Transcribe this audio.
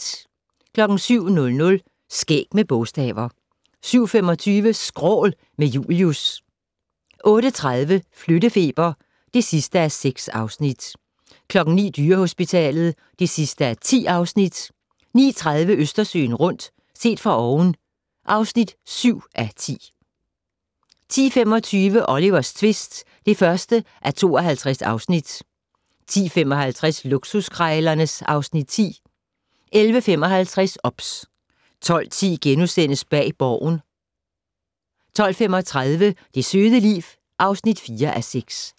07:00: Skæg med bogstaver 07:25: Skrål - med Julius 08:30: Flyttefeber (6:6) 09:00: Dyrehospitalet (10:10) 09:30: Østersøen rundt - set fra oven (7:10) 10:25: Olivers tvist (1:52) 10:55: Luksuskrejlerne (Afs. 10) 11:55: OBS 12:10: Bag Borgen * 12:35: Det søde liv (4:6)